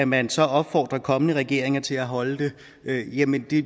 man så opfordrer kommende regeringer til at holde det jamen det